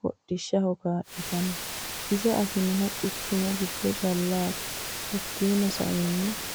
hodhishshaho kaalitano ise afanihu quchumu giddo callati hakiino sa'eena...